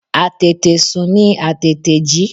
Àtètè sùn ni Àtètè jí.